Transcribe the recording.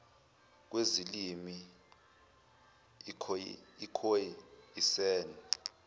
kwezilimi ikhoe isan